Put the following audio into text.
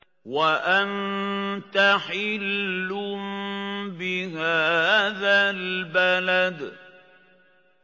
وَأَنتَ حِلٌّ بِهَٰذَا الْبَلَدِ